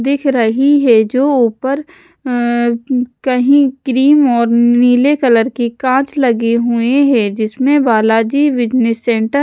दिख रही है जो ऊपर अह कहीं क्रीम और नीले कलर की कांच लगे हुए हैं जिसमें बाला जी बिजनेस सेंटर --